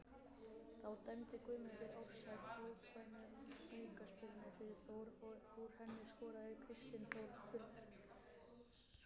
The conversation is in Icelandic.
Þá dæmdi Guðmundur Ársæll óbeina aukaspyrnu fyrir Þór og úr henni skoraði Kristinn Þór Björnsson.